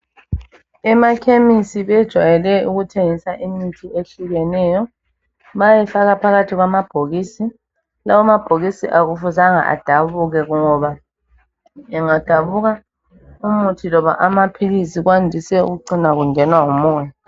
Emakhemisi bajwayele ukuthengisa imithi eyehlukeneyo. Bayayifaka phakathi kwama bhokisi. Lawa amabhokisi akufuzanga adabuke ngoba engadabuka, umuthi loba amaphilisi kwandise ukucina kungenwa ngumoya.